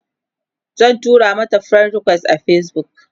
zan tura mata friend request a Facebook